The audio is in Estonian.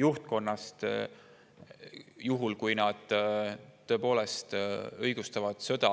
juhtkonnast juhul, kui need tõepoolest õigustavad sõda